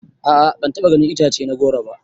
A'a ban taɓa ganin itace na goro ba.